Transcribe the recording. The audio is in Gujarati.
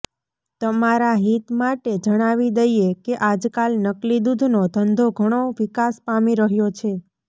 તમારા હિત માટે જણાવી દઈએ કે આજકાલ નકલી દુધનો ધંધો ઘણો વિકાસ પામી રહ્યો છે